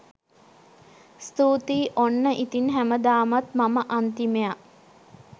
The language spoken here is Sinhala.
ස්තුතියි ඔන්න ඉතින් හැමදාමත් මම අන්තිමයා.